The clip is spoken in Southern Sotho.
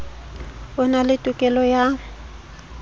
o na le tokelo ya